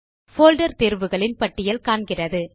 folder தேர்வுகளின் பட்டியல் காண்கிறது